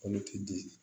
Kolo ti di